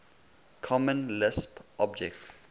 common lisp object